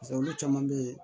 olu caman be yen